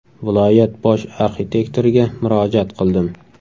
Viloyat bosh arxitektoriga murojaat qildim.